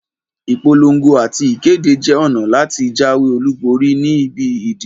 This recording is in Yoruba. Ìpolon̄go àti ìkéde jẹ ọ̀nà láti jáwé olúborí ni ibi ìdìbò